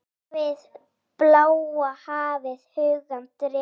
Hafið, bláa hafið, hugann dregur.